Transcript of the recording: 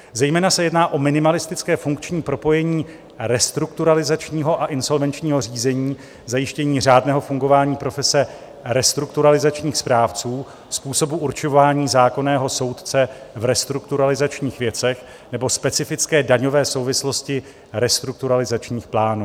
Zejména se jedná o minimalistické funkční propojení restrukturalizačního a insolvenčního řízení, zajištění řádného fungování profese restrukturalizačních správců, způsobu určování zákonného soudce v restrukturalizačních věcech nebo specifické daňové souvislosti restrukturalizačních plánů.